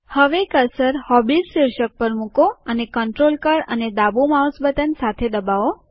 હવે cursor hobbies શીર્ષક પર મૂકો અને કન્ટ્રોલ કળ અને ડાબુ માઉસ બટન સાથે દબાવો